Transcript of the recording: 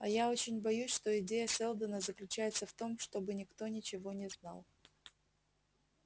а я очень боюсь что идея сэлдона заключается в том чтобы никто ничего не знал